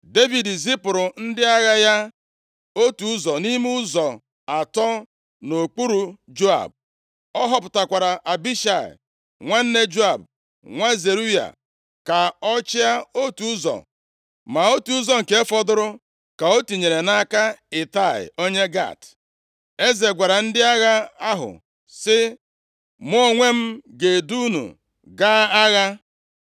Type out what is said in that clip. Devid zipụrụ ndị agha ya, otu ụzọ nʼime ụzọ atọ nʼokpuru Joab, Ọ họpụtakwara Abishai, nwanne Joab, nwa Zeruaya, ka ọ chịa otu ụzọ. Ma otu ụzọ nke fọdụrụ ka o tinyere nʼaka Itai onye Gat. Eze gwara ndị agha ahụ sị, “Mụ onwe m ga-edu unu gaa agha.”